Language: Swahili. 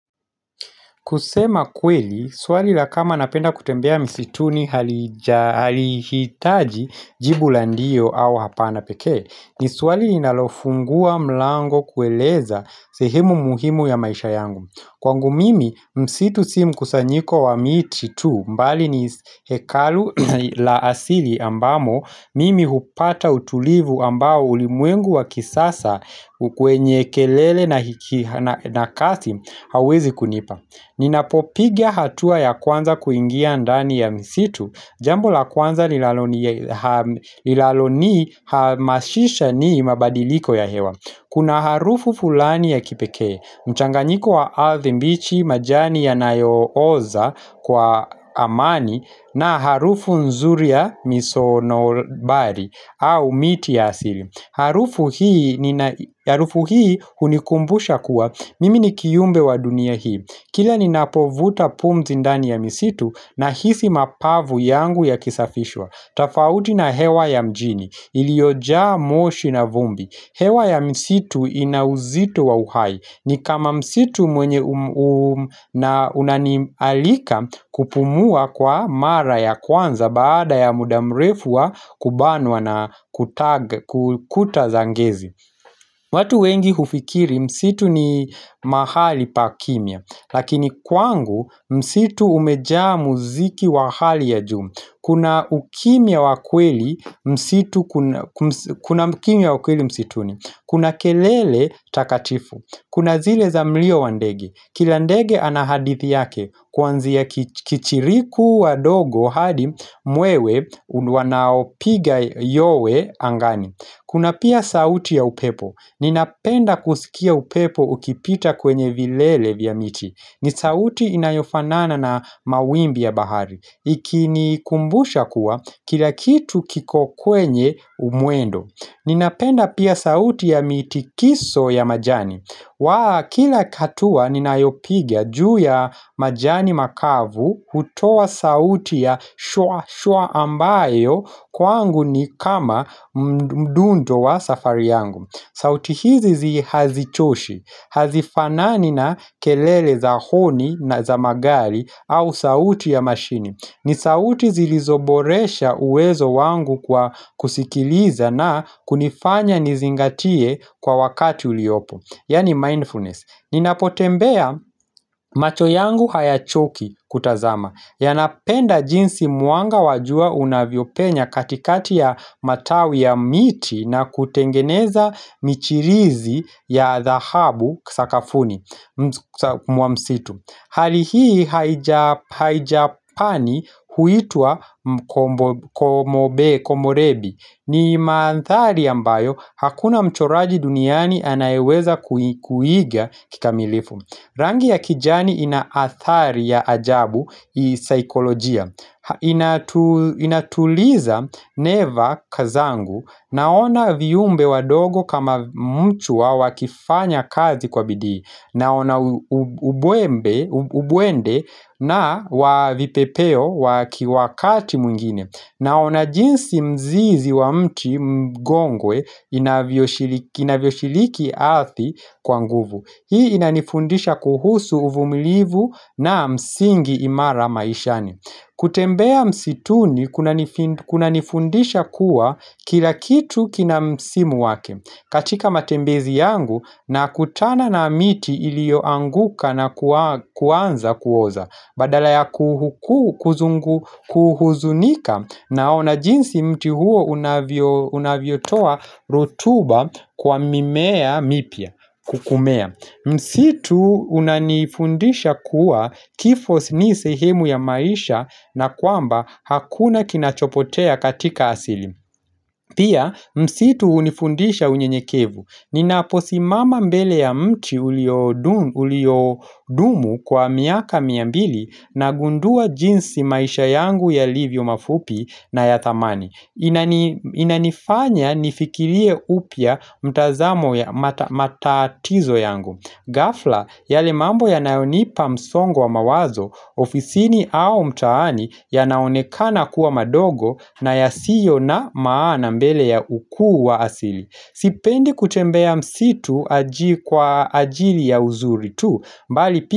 Kusema kweli, swali la kama napenda kutembea msituni halija halihitaji jibu la ndiyo au hapa napekee, ni swali inalofungua mlango kueleza sehimu muhimu ya maisha yangu. Kwangu mimi, msitu simkusanyiko wa miti tu mbali ni hekalu la asili ambamo mimi hupata utulivu ambao ulimwengu wa kisasa kwenye kelele na kasi hawezi kunipa. Ninapopigia hatua ya kwanza kuingia ndani ya misitu Jambo la kwanza lilalonihamashisha nii mabadiliko ya hewa Kuna harufu fulani ya kipekee mchanganyiko wa ardhi mbichi majani yanayo oza kwa amani na harufu nzuri ya miso nobari au miti ya asili Harufu hii hunikumbusha kuwa Mimi ni kiumbe wa dunia hii Kila ninapovuta vuta pumzi ndani ya misitu nahisi mapavu yangu ya kisafishwa tofauti na hewa ya mjini iliyojaa moshi na vumbi hewa ya misitu ina uzito wa uhai ni kama msitu mwenye unanialika kupumua kwa mara ya kwanza Baada ya muda mrefu wa kubanwa na kutag kuta za ngezi watu wengi hufikiri misitu ni mahali pa kimya Lakini kwangu msitu umejaa muziki wa hali ya juu Kuna ukimya wa kweli msitu kuna mkimya wakweli msituni Kuna kelele takatifu Kuna zile za mlio wandege Kila ndege ana hadithi yake Kwanzia ya kichiriku wadogo hadi mwewe wanaopiga yowe angani Kuna pia sauti ya upepo Ninapenda kusikia upepo ukipita kwenye vilele vya miti ni sauti inayofanana na mawimbi ya bahari ikinikumbusha kuwa kila kitu kiko kwenye umwendo Ninapenda pia sauti ya mitikiso ya majani wa kila katua ninayopigia juu ya majani makavu hutoa sauti ya shwa shwa ambayo kwangu ni kama mdundo wa safari yangu sauti hizi zi hazichoshi, hazifanani na kelele za honi na za magari au sauti ya mashini ni sauti zilizoboresha uwezo wangu kwa kusikiliza na kunifanya nizingatie kwa wakati uliopo Yani mindfulness Ninapotembea macho yangu hayachoki kutazama Yanapenda jinsi mwanga wa jua unavyopenya katikati ya matawi ya miti na kutengeneza michirizi ya thahabu sakafuni mwamsitu Hali hii haijapani huitwa mko komobe komorebi ni maanthari ambayo hakuna mchoraji duniani anayeweza kui kuiga kikamilifu Rangi ya kijani inaathari ya ajabu isaikolojia inatuliza neva zangu naona viumbe wadogo kama mchua wakifanya kazi kwa bidii Naona ubwende na wa vipepeo wakiwa kati mwingine Naona jinsi mzizi wa mti mgongwe inaviyoshiliki ardhi kwa nguvu Hii inanifundisha kuhusu uvumilivu na msingi imara maishani kutembea msituni kuna kuhanifundisha kuwa kila kitu kina msimu wake katika matembezi yangu na kutana na miti ilioanguka na kua kuanza kuoza Badala ya kuhu kuzungu kuhuzunika naona jinsi mti huo unavyo unavyotoa rotuba kwa mimea mipya kukumea Msitu unanifundisha kuwa kifo ni sehemu ya maisha na kwamba hakuna kinachopotea katika asili Pia msitu hunifundisha unyenyekevu Ninaposimama mbele ya mchi ulio dumu kwa miaka miambili nagundua jinsi maisha yangu yalivyo mafupi na ya thamani Inanifanya nifikirie hupya mtazamo ya ma matatizo yangu gafla, yale mambo ya nayonipa msongwa wa mawazo, ofisini au mtaani yanaonekana kuwa madogo na yasiyo na maana mbele ya ukuu wa asili. Sipendi kutembea msitu kwa ajili ya uzuri tu.